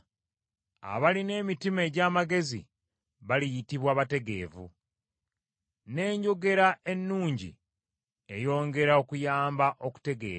Abalina emitima egy’amagezi baliyitibwa bategeevu, n’enjogera ennungi eyongera okuyamba okutegeera.